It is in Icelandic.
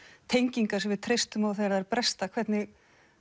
tengingar sem við treystum á þegar þær bresta hvernig